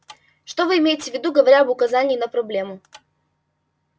что вы имеете в виду говоря об указании на проблему